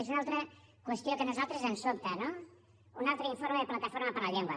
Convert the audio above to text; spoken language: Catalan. és una altra qüestió que a nosaltres ens sobta no un altre informe de plataforma per la llengua